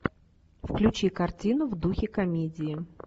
включи картину в духе комедии